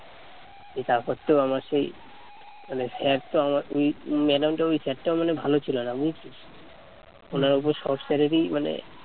এটা করতেও আমার সেই মানে sir তো আমার ওই madam টা ঐ sir টাও মানে ভালো ছিল না বুঝেছিস উনার ওপর সব sir এরি মানে